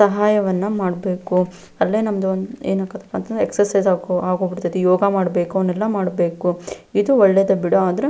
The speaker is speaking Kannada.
ಸಹಾಯವನ್ನ ಮಾಡ್ಬೇಕು ಅಲ್ಲೇ ನಮ್ದು ಏನಾಕತ್ತಪ್ಪಾಂತಂದ್ರೆ ಎಕ್ಸಸೈಸ್ ಅಕೋ ಆಗೋಬಿಡ್ತತಿ ಯೋಗ ಮಾಡಬೇಕು ಅವ್ನೆಲ್ಲಾ ಮಾಡಬೇಕು ಇದು ಒಳ್ಳೇದೇ ಬಿಡು ಅದ್ರೆ --